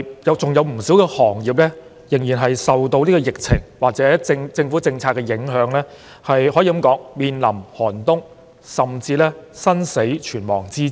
有不少行業受到疫情或政府政策的影響，可以說是面臨寒冬，甚至是生死存亡之秋。